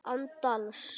Án dals.